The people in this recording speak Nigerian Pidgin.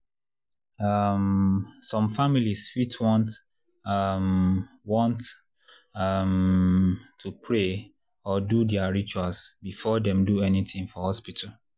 um some families fit want um want um to pray or do their rituals before dem do anything for hospital.